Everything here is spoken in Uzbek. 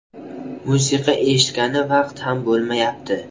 Musiqa eshitgani vaqt ham bo‘lmayapti.